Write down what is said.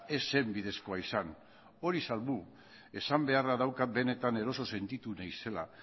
ez zen bidezkoa izan hori salbu esan beharra daukat benetan eroso sentitu naizela